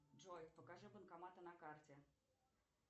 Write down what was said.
джой покажи банкоматы на карте